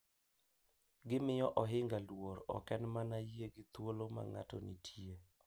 Gimiyo ohinga luor ok en mana yie gi thuolo ma ng’ato nitie .